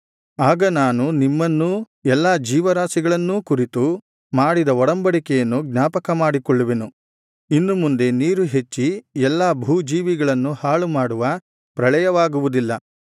ಆಗ ನಾನು ನಿಮ್ಮನ್ನೂ ಎಲ್ಲಾ ಜೀವರಾಶಿಗಳನ್ನೂ ಕುರಿತು ಮಾಡಿದ ಒಡಂಬಡಿಕೆಯನ್ನು ಜ್ಞಾಪಕಮಾಡಿಕೊಳ್ಳುವೆನು ಇನ್ನು ಮುಂದೆ ನೀರು ಹೆಚ್ಚಿ ಎಲ್ಲಾ ಭೂಜೀವಿಗಳನ್ನು ಹಾಳುಮಾಡುವ ಪ್ರಳಯವಾಗುವುದಿಲ್ಲ